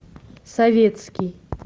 советский